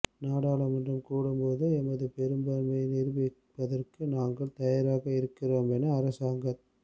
நாடாளுமன்றம் கூடும்போது எமது பெரும்பான்மையை நிரூபிப்பதற்கு நாங்களும் தயாராக இருக்கின்றோமென அரசாங்கத்